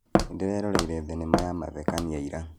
Nĩndĩreroreire thinema ya mathekania ira